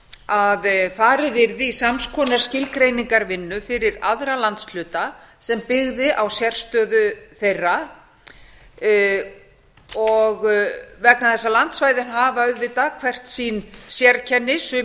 að farið yrði í sams konar skilgreiningarvinnu fyrir aðra landshluta sem byggði á sérstöðu þeirra vegna þess að landsvæðin hafa auðvitað hvert sín sérkenni sum